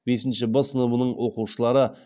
бесінші б сыныбының оқушылары